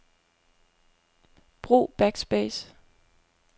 Brug backspace.